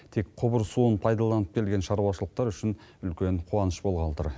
тек құбыр суын пайдаланып келген шаруашылықтар үшін үлкен қуаныш болғалы тұр